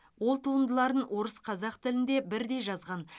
ол туындыларын орыс қазақ тілінде бірдей жазған